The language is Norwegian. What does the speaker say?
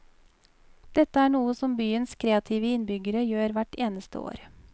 Dette er noe som byens kreative innbyggere gjør hvert eneste år.